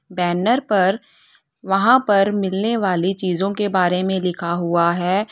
Banner पर वहां पर मिलने वाली चीजों के बारे में लिखा हुआ है।